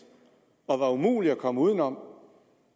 og var umulig at komme uden om